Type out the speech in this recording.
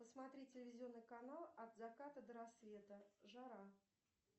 посмотри телевизионный канал от заката до рассвета жара